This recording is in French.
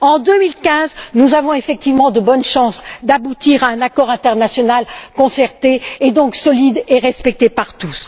En 2015, nous avons effectivement de bonnes chances d'aboutir à un accord international concerté et donc solide et respecté par tous.